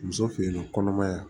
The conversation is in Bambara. Muso fe yen nɔ kɔnɔmaya